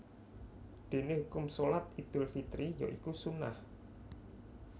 Dene hukum Shalat Idul Fitri ya iku sunnah